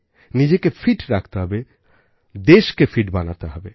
নিজেকে ফিট রাখতে হবে দেশকে ফিট বানাতে হবে